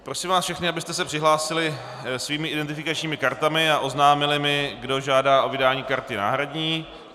Prosím vás všechny, abyste se přihlásili svými identifikačními kartami a oznámili mi, kdo žádá o vydání karty náhradní.